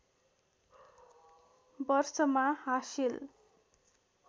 वर्षमा हासिल